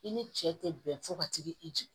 I ni cɛ tɛ bɛn fo ka t'i jigin